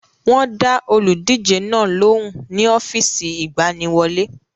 Wọ́n dá olùdíje náà lóhùn ní ọ́fíìsì ìgbaniwọlé.